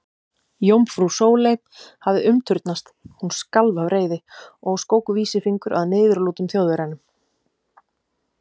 Jómfrú Sóley hafði umturnast, hún skalf af reiði og skók vísifingur að niðurlútum Þjóðverjanum.